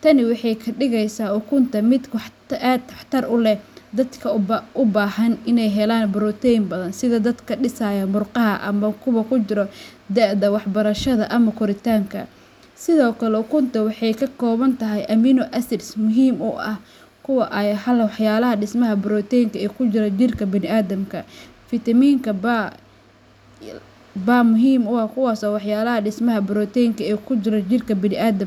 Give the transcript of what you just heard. Tani waxay ka dhigeysaa ukunta mid aad waxtar u leh dadka u baahan inay helaan borotiin badan sida dadka dhisaya murqaha ama kuwa ku jira da'da waxbarashada ama koritaanka. Sidoo kale, ukunta waxay ka kooban tahay amino acids muhiim u ah, kuwaas oo ah walxaha dhismaha borotiinka ee ku jira jidhka bini'aadamka. Fiitamiinka B muhiimka ah biniaadamka.